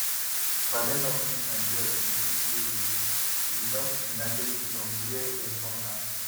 badenoch leave nigeria 28 years ago to return to united kingdom wia dem born her